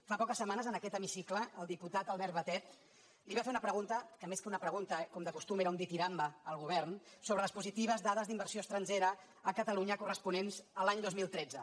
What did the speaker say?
fa poques setmanes en aquest hemicicle el diputat albert batet li va fer una pregunta que més que una pregunta com de costum era un ditirambe al govern sobre les positives dades d’inversió estrangera a catalunya corresponents a l’any dos mil tretze